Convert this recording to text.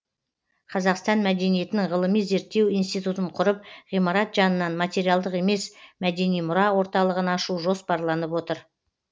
қазақстан мәдениетінің ғылыми зерттеу институтын құрып ғимарат жанынан материалдық емес мәдени мұра орталығын ашу жоспарланып отыр